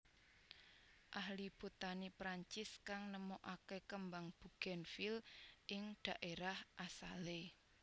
Ahli Botani Perancis kang nemoaké kembang bugènvil ing dhaérah asalé